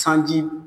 Sanji